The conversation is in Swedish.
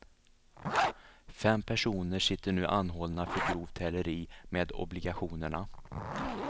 Fem personer sitter nu anhållna för grovt häleri med obligationerna.